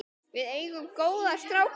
Við eigum góða stráka.